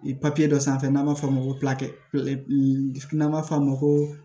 dɔ sanfɛ n'an b'a f'o ma ko n'an b'a f'o ma ko